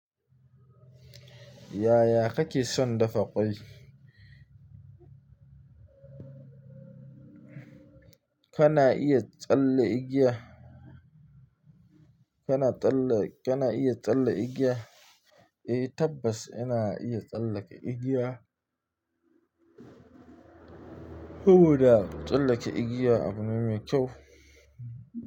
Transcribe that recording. Yaya kake son dafa kwai? Kana iya tsalle igiya? Kana tsalle, kana iya tsalle igiya? Eh tabbas ina iya tsallake igiya. Saboda tsallake igiya abu ne mai kyau.